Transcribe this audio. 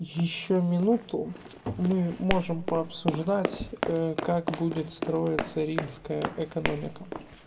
ещё минуту мы можем по обсуждать как будет строиться римская экономика